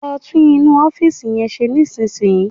Lọ tún inú ọ́fìsì yẹn ṣe nísìnyí